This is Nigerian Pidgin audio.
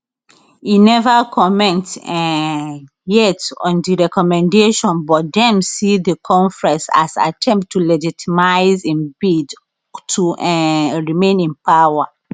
e neva comment um yet on di recommendation but dem see di conference as attempt to legitimise im bid to um remain in power